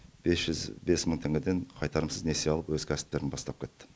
бес жүз бес мың теңгеден қайтарымсыз несие алып өз кәсіптерін бастап кетті